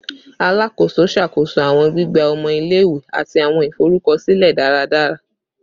Alakoso ṣakoso awọn gbigba ọmọ ile-iwe ati awọn iforukọsilẹ daradara